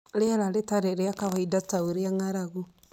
Rĩera rĩtarĩ rĩa kawaida, ta ũrĩa ng'aragu